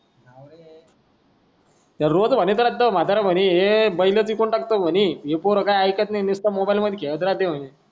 रोज म्हातारा म्हणे हे बैल विकून टाकतो म्हणे ही पोरं काय आयक्त नाय निस्ता मोबाईल मध्ये खेळत राहते म्हणे